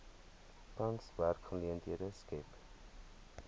tans werksgeleenthede skep